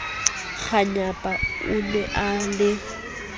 kganyapa o ne a le